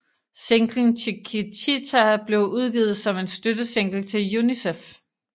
Singlen Chiquitita blev udgivet som en støttesingle til UNICEF